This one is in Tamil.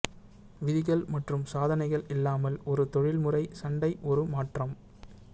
விதிகள் மற்றும் சாதனைகள் இல்லாமல் ஒரு தொழில்முறை சண்டை ஒரு மாற்றம்